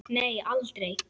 Nei, aldrei.